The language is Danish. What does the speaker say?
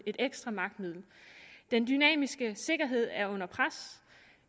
et ekstra magtmiddel den dynamiske sikkerhed er under pres